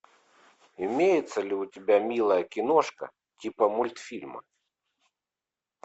имеется ли у тебя милая киношка типа мультфильма